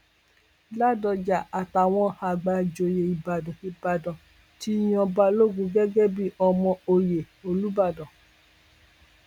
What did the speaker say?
ládọjà àtàwọn àgbà ìjòyè ìbàdàn ìbàdàn ti yan balógun gẹgẹ bíi ọmọ ọyẹ olùbàdàn